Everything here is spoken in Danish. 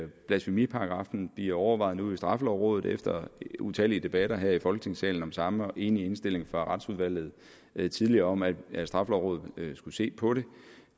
blasfemiparagraffen bliver overvejet nu i straffelovrådet efter utallige debatter her i folketingssalen om samme og en enig indstilling fra retsudvalget tidligere om at straffelovrådet skulle se på det